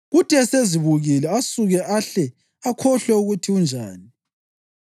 kuthi esezibukile asuke ahle akhohlwe ukuthi unjani.